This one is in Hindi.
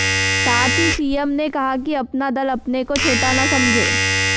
साथ ही सीएम ने कहा कि अपना दल अपने को छोटा ना समझें